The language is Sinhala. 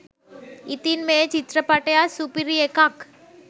ඉතින් මේ චිත්‍රපටියත් සුපිරි එකක්